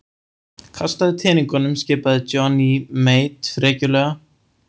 Kastaðu teningunum skipaði Johnny Mate frekjulega.